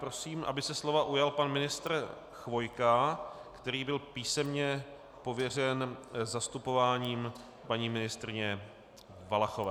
Prosím, aby se slova ujal pan ministr Chvojka, který byl písemně pověřen zastupováním paní ministryně Valachové.